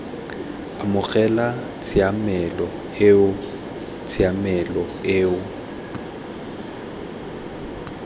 amogela tshiamelo eo tshiamelo eo